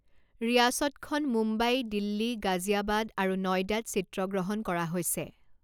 ৰিয়াসতখন মুম্বাই, দিল্লী, গাজিয়াবাদ আৰু নয়ডাত চিত্ৰগ্ৰহণ কৰা হৈছে।